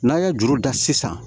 N'a ye juru da sisan